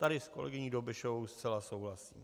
Tady s kolegyní Dobešovou zcela souhlasím.